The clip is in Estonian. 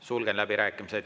Sulgen läbirääkimised.